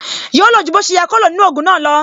Yóò lo ju bó ṣe yẹ kó lo nínú ogun náà lo